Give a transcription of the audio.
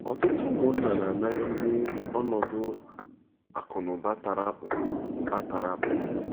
Ọtụtụ ụmụnna na-anagide ọnọdụ akụ̀ na ụba tara akpụ ụba tara akpụ.